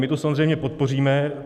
My to samozřejmě podpoříme.